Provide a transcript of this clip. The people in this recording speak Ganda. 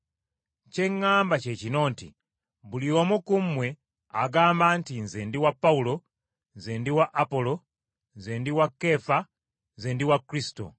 Kye ŋŋamba kye kino nti buli omu ku mmwe agamba nti nze ndi wa Pawulo, nze ndi wa Apolo, nze ndi wa Keefa, nze ndi wa Kristo.